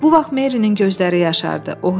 Bu vaxt Merinin gözləri yaşardı.